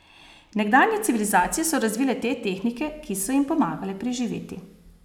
Nekdanje civilizacije so razvile te tehnike, ki so jim pomagale preživeti.